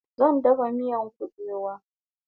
Zan dafa miyan kubewa